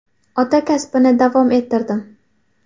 Ota kasbini davom ettirdim.